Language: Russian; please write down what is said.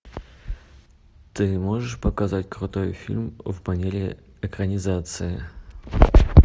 ты можешь показать крутой фильм в манере экранизация